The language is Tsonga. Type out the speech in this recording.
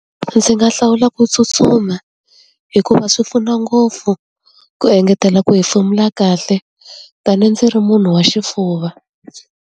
Ndzi nga hlawula ku tsutsuma, hikuva swi pfuna ngopfu ku engetela ku hefemula kahle. Ta ni ndzi ri munhu wa xifuva.